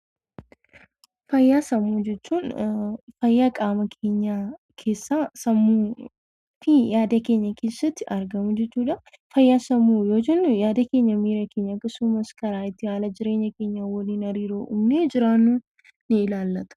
Fayyaa sammuu jechuun fayyaa qaama keenya keessaa, sammuu fi yaada keenya keessatti argamu jechuudha. Fayyaa sammuu yoo jennu, yaada keenya, miira keenya akkasumas karaa itti haala jireenya keenyaa waliin hariiroo uumnee jiraannu ni ilaallata.